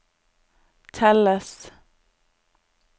telles